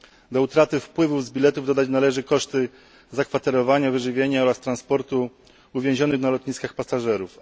Do utraty wpływów z biletów dodać należy koszty zakwaterowania, wyżywienia oraz transportu uwięzionych na lotniskach pasażerów..